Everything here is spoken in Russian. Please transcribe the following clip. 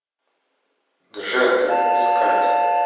джет искать